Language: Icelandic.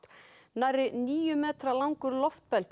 nærri níu metra langur